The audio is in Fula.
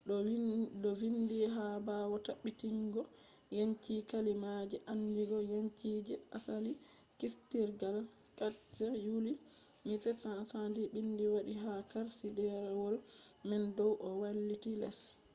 do vindi ha bawo tabbitibgo yanci kalimaaje andingo yanci je asali kiistirgal 4th yuly 1776”. bindi wangi ha karshi derewol man dow do wailiti les